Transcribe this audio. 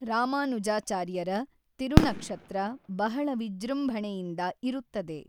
ರಾಮಾನುಜಾಚಾರ್ಯರ ತಿರುನಕ್ಶತ್ರ ಬಹಳ ವಿಜೃಂಭಣೆಯಿಂದ ಇರುತ್ತದೆ.